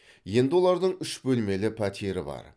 енді олардың үш бөлмелі пәтері бар